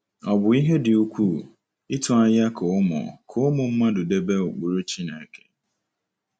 Ọ̀ bụ ihe dị ukwuu ịtụ anya ka ụmụ ka ụmụ mmadụ debe ụkpụrụ Chineke?